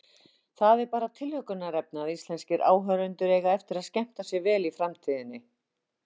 Það er bara tilhlökkunarefni að íslenskir áhorfendur eiga eftir að skemmta sér vel í framtíðinni.